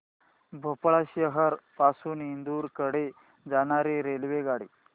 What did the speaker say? भोपाळ शहर पासून इंदूर कडे जाणारी रेल्वेगाडी